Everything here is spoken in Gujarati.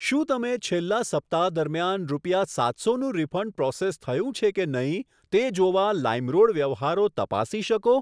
શું તમે છેલ્લા સપ્તાહ દરમિયાન રૂપિયા સાતસોનું રીફંડ પ્રોસેસ થયું છે કે નહીં તે જોવા લાઇમરોડ વ્યવહારો તપાસી શકો?